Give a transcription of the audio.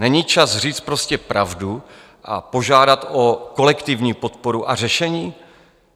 Není čas říct prostě pravdu a požádat o kolektivní podporu a řešení?